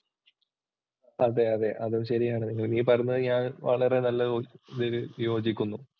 അതെ അതെ അതും ശരിയാണ് നീ പറഞ്ഞത് ഞാൻ വളരെ യോജിക്കുന്നു.